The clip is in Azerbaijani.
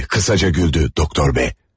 diye kısaca güldü Doktor B.